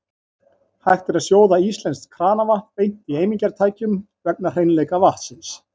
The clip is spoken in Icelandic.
Hægt er að sjóða íslenskt kranavatn beint í eimingartækjum vegna hreinleika vatnsins.